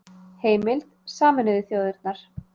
Heimild: Sameinuðu þjóðirnar